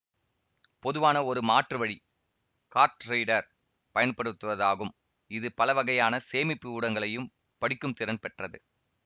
பொதுவான ஒரு மாற்று வழி கார்ட் ரீடர் பயன்படுத்துவதாகும் இது பல வகையான சேமிப்பு ஊடகங்களையும் படிக்கும் திறன் பெற்றது